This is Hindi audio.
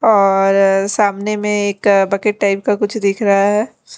और सामने में एक बकेट टाइप का कुछ दिख रहा है।